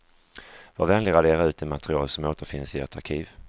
Var vänlig radera ut det material som återfinns i ert arkiv.